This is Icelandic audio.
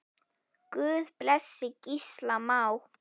Guð blessi Gísla Má.